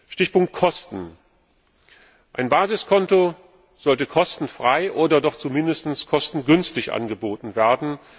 Stichpunkt Kosten Ein Basiskonto sollte kostenfrei oder doch zumindest kostengünstig angeboten werden.